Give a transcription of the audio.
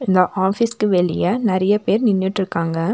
இந்த ஆபீஸ்க்கு வெளிய நெறைய பேர் நின்னுட்ருக்காங்க.